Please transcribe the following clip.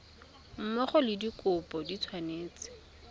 mmogo le dikopo di tshwanetse